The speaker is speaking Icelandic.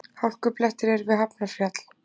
Hálkublettir eru við Hafnarfjall